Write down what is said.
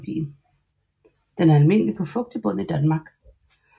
Den er almindelig på fugtig bund i Danmark